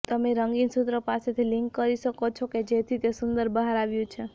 તમે રંગીન સૂત્રો પાસેથી લિંક કરી શકો છો કે જેથી તે સુંદર બહાર આવ્યું છે